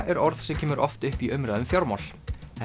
er orð sem kemur oft upp í umræðu um fjármál